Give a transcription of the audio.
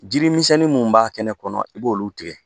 Jiri misɛnni minnu b'a kɛnɛ kɔnɔ i b'olu tigɛ